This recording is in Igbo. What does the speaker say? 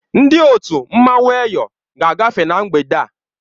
Ndị otu mmanwụ Eyọ ga-agafe na mgbede a.